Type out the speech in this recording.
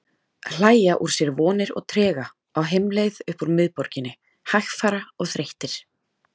Hlæja úr sér vonir og trega, á heimleið upp úr miðborginni, hægfara og þreyttir.